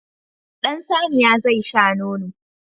Ɗan saniya zai sha nono.